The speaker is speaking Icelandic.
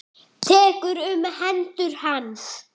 Tekur um hendur hans.